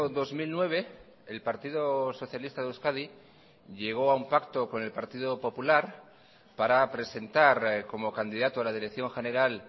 dos mil nueve el partido socialista de euskadi llegó a un pacto con el partido popular para presentar como candidato a la dirección general